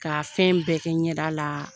Ka fɛn bɛɛ kɛ ɲɛda la